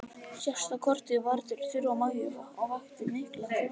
Síðasta kortið var til Þuru og Maju og vakti mikla forvitni.